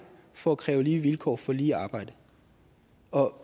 for at kræve lige vilkår for lige arbejde